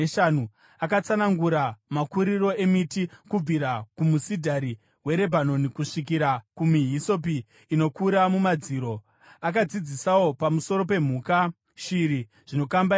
Akatsanangura makuriro emiti, kubvira kumusidhari weRebhanoni kusvikira kumihisopi inokura mumadziro. Akadzidzisawo pamusoro pemhuka, shiri, zvinokambaira nehove.